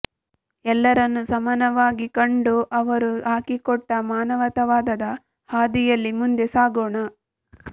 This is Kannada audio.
ಎಲ್ಲರನ್ನು ಸಮಾನವಾಗಿ ಕಂಡು ಅವರು ಹಾಕಿಕೊಟ್ಟ ಮಾನವತಾವಾದದ ಹಾದಿಯಲ್ಲಿ ಮುಂದೆ ಸಾಗೋಣ